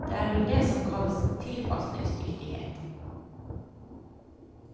Det er vel det som kalles tilpasningsdyktighet.